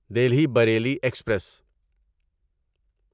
Delhi Bareilly express